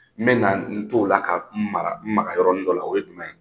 N bɛ na n' o la ka n maka n maka yɔrɔni dɔ la, o ye jumɛn ye?